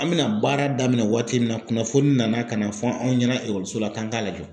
An bɛna baara daminɛ waati min na kunnafoni nana ka na fɔ anw ɲɛna la k'an k'a lajɔ.